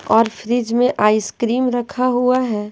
और फ्रिज में आइसक्रीम रखा हुआ है।